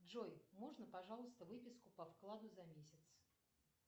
джой можно пожалуйста выписку по вкладу за месяц